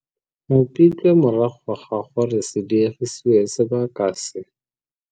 Mopitlwe morago ga gore se diegisiwe sebaka se se.